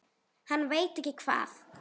Hann veit ekki hvað